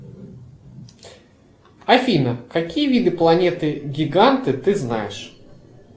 афина какие виды планеты гиганты ты знаешь